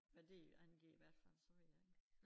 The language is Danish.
Men det jo angivet hvert fald så ved jeg ikke